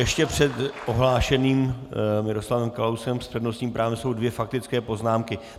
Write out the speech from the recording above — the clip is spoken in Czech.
Ještě před ohlášeným Miroslavem Kalouskem s přednostním právem jsou dvě faktické poznámky.